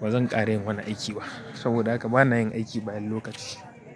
Ba zan ƙare yin wani aiki ba. Saboda haka bana yin aiki bayan lokaci.